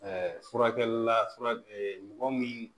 furakɛlila fura mɔgɔ min